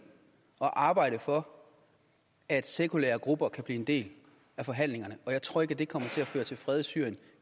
og arbejde for at sekulære grupper kan blive en del af forhandlingerne og jeg tror ikke at det kommer til at føre til fred i syrien